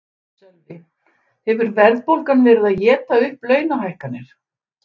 Sölvi: Hefur verðbólgan verið að éta upp launahækkanir?